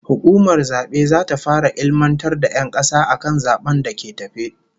Hukumar zabe zata fara ilmantar da 'yan kasa akan zaben da ke tafe